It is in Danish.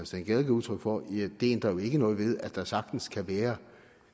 steen gade gav udtryk for men det ændrer ikke noget ved at der sagtens kan være